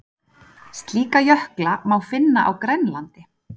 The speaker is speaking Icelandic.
Slíka jökla má finna á Grænlandi.